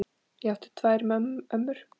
Ég átti tvær ömmur.